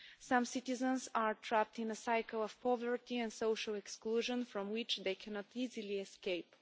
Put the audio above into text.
Some citizens are trapped in a cycle of poverty and social exclusion from which they cannot easily escape.